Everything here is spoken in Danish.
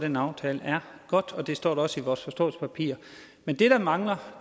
den aftale er godt og det står der også i vores forståelsespapir men det der mangler